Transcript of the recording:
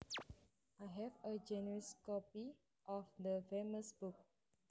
I have a genuine copy of the famous book